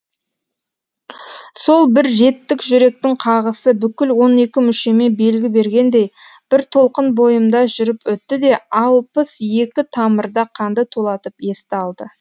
сол бір жеттік жүректің қағысы бүкіл он екі мүшеме белгі бергендей бір толқын бойымда жүріп өтті де алпыс екі тамырда қанды тулатып есті алды